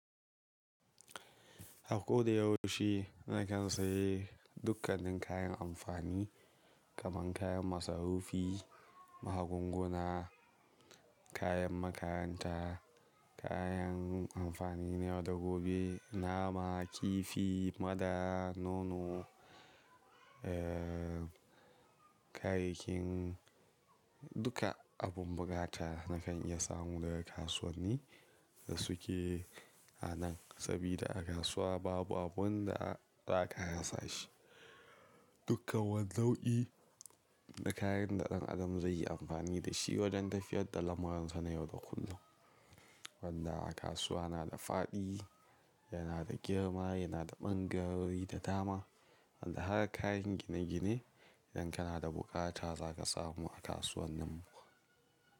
Ako da yaushe na kan sayi dukkanin kayan amfani kaman kayan masarufi, magunguna, kayan makaranta, kayan amfani na yau da gobe, nama, kifi, madara, nono, eh, kayayyakin duka abun bukata na kan iya samu daga kasuwanni da suke a nan. Sabida a kasuwa babu abun da za ka rasa shi. Duka wan nau'i na kayan da ɗan adam zai yi amfani da shi wajen tafiyar da lamuransa na yau da kullum. Wanda a kasuwa na da faɗi, yana da girma, yana da ɓangarori da dama wanda har kayan gine gine idan kana da bukata za ka samu a kasuwan nan.